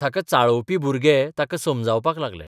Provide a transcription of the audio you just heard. ताका चाळोवपी भुरगे ताका समजावपाक लागले.